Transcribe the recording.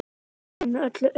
Dauðinn er öllum auðinn.